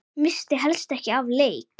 Missti helst ekki af leik.